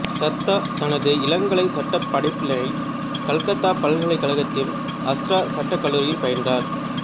தத்தா தனது இளங்கலைச் சட்டப் படிப்பினை கல்கத்தா பல்கலைக்கழகத்தின் ஹஸ்ரா சட்டக் கல்லூரியில் பயின்றார்